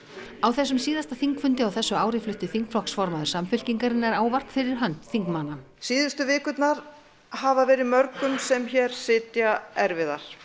á þessum síðasta þingfundi á þessu ári flutti þingflokksformaður Samfylkingarinnar ávarp fyrir hönd þingmanna síðustu vikurnar hafa verið mörgum sem hér sitja erfiðar